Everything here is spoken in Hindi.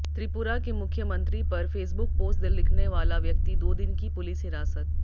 त्रिपुरा के मुख्यमंत्री पर फेसबुक पोस्ट लिखने वाला व्यक्ति दो दिन की पुलिस हिरासत